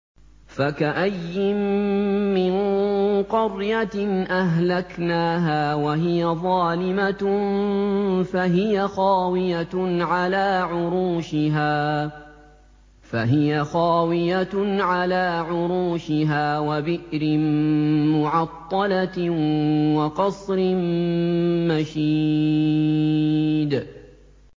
فَكَأَيِّن مِّن قَرْيَةٍ أَهْلَكْنَاهَا وَهِيَ ظَالِمَةٌ فَهِيَ خَاوِيَةٌ عَلَىٰ عُرُوشِهَا وَبِئْرٍ مُّعَطَّلَةٍ وَقَصْرٍ مَّشِيدٍ